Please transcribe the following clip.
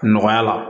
Nɔgɔya la